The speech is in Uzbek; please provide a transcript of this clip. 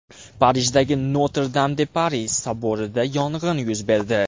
Parijdagi Notr-Dam-de-Pari soborida yong‘in yuz berdi .